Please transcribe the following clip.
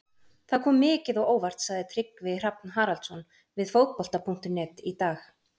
Það kom mikið á óvart, sagði Tryggvi Hrafn Haraldsson við Fótbolta.net í dag.